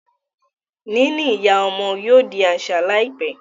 níní ìyá ọmọ yóò di aṣa láìpé.